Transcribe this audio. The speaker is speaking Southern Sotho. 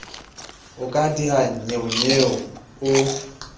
o ka diha nnyeonyeo o